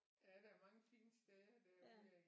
Ja der er mange fine steder derude af